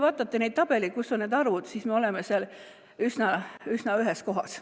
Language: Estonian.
Vaadake neid tabeleid, kus on need arvud: me oleme seal üsna ühes kohas.